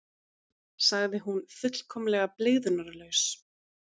sagði hún fullkomlega blygðunarlaus.